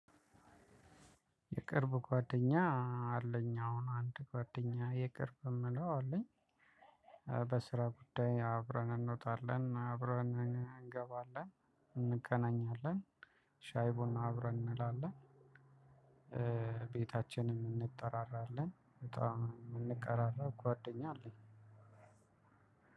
የቅርብ ጓደኛ አለኝ አሁን አንድ ጓደኛ የቅርብ የምለው አለኝ። በስራ ጉዳይ አብረን እንወጣለን አብረን እንገባለን እንገናኛለን ሻይ ቡራ አብረን እንላለን። ቤታችንም እንጠራራለን በጣም እምንቀራራብ ጓደኛ አለኝ።